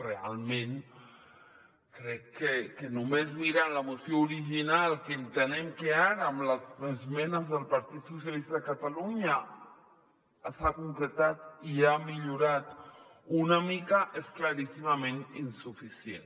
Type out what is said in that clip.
realment crec que només mirant la moció original que entenem que ara amb les esmenes del partit socialistes de catalunya s’ha concretat i ha millorat una mica és claríssimament insuficient